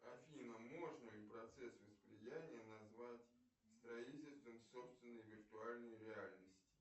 афина можно ли процесс восприятия назвать строительством собственной виртуальной реальности